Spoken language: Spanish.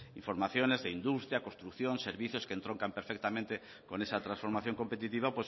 información de industria construcción servicios que entroncan perfectamente con esa transformación competitiva